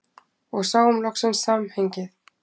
Og sáum loksins samhengið.